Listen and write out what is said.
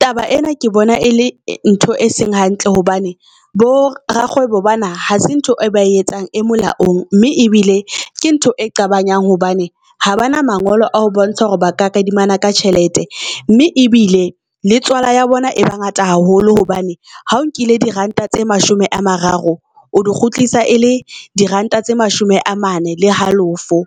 Taba ena ke bona e le ntho e seng hantle hobane bo Rakgwebo bana hase ntho e ba etsang e molaong mme ebile ke ntho e nqabanyang hobane ha ba na mangolo a ho bontsha hore ba ka kadimana ka tjhelete mme ebile le tswala ya bona e ba ngata haholo hobane ha o nkile di Ranta tse mashome a mararo, o di kgutlisa e le diranta tse mashome a mane le halofo.